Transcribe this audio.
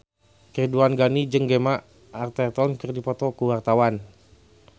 Ridwan Ghani jeung Gemma Arterton keur dipoto ku wartawan